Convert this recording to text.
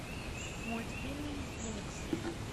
мультфильм винкс